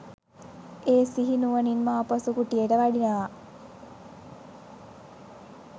ඒ සිහි නුවණින්ම ආපසු කුටියට වඩිනවා.